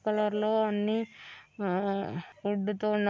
colour లొ అన్ని వా ]